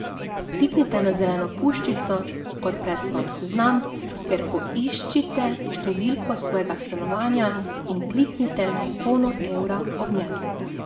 Kliknite na zeleno puščico, odpre se vam seznam, kjer poiščite številko svojega stanovanja in kliknite na ikono evra ob njem.